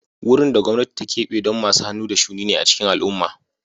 Wurin da gwamnati ta keɓe don masu hannu da shuni ne a cikin al'umma